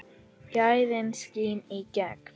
Gæðin skína í gegn.